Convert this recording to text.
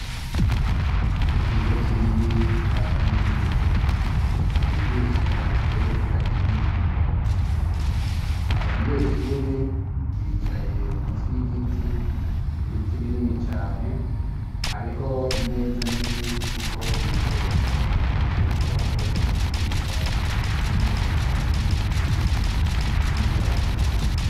ikigo kinini ca kaminuza cigisha ivyerekeranye n imyuga abanyeshure bicaye munsi y igiti ibiti binini cane hariho imeza nini iriko ibikoresho bariko barakoresha mu kwiga ivyigwa bijanye nikoranabuhanga.